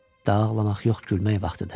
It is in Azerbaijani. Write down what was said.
Daha ağlamaq yox, gülmək vaxtıdır.